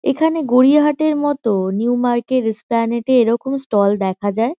এখানে গড়িয়াহাটের ম-ত নিউ মার্কেট স্প্লানেড -এ এরকম স্টল দেখা যায়।